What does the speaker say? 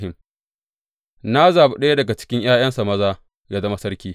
Na zaɓi ɗaya daga cikin ’ya’yansa maza yă zama sarki.